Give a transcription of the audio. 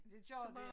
Det gør det